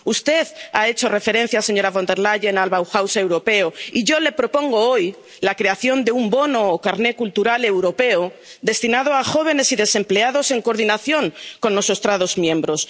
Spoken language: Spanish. Usted ha hecho referencia, señora Von der Leyen, al Bauhaus europeo y yo le propongo hoy la creación de un bono o carné cultural europeo destinado a jóvenes y desempleados, en coordinación con los Estados miembros.